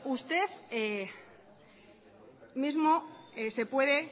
usted mismo se puede